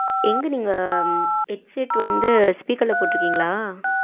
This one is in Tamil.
எங்க நீங்க headset வந்து speaker ல போட்டு இருக்கீங்களா?